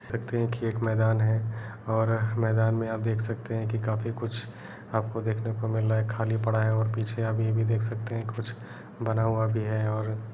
देखते हैं की एक मैदान है और मैदान में आप देख सकते हैं की काफी कुछ आपको देखने को मिल रहा है खाली पड़ा है और पीछे आप यह भी देख सकते हैं कुछ बना हुआ भी है और --